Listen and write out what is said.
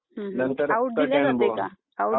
हं हं आऊट दिला जाते का?